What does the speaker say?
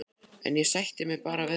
En ég sætti mig bara við það.